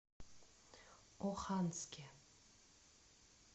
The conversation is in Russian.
оханске